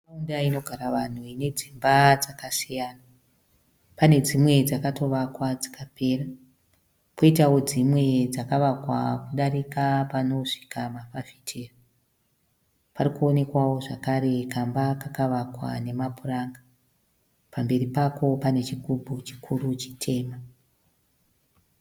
Nharaunda inogara vanhu. Ine dzimba dzakasiyana. Pane dzimwe dzakatovakwa dzikapera. Poitao dzimwe dzakavakwa kudarika panosvika mafafitera. Parikuonekwao zvakare kamba kakavakwa nemapuranga. Pamberi pako pane chigubhu chikuru chitema.